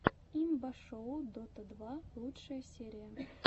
имба шоу дота два лучшая серия